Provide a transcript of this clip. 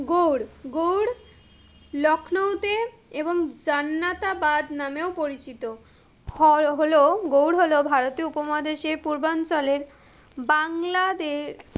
গৌর, গৌর, লক্ষ্ণৌতে, এবং জান্নাতাবাদ নামেও পরিচিত। হলো, গৌর হলো ভারতীয় উপমহাদেশের পূর্বাঞ্চলের, বাংলাদেশ,